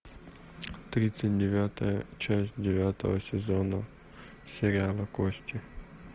тридцать девятая часть девятого сезона сериала кости